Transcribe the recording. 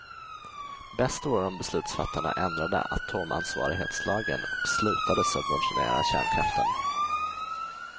Bäst vore om beslutsfattarna ändrade atomansvarighetslagen och slutade subventionera kärnkraften.